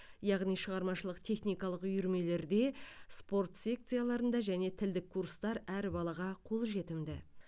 яғни шығармашылық техникалық үйірмелерде спорт секцияларында және тілдік курстар әр балаға қолжетімді